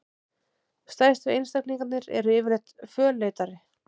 Stærstu einstaklingarnir eru yfirleitt fölleitari.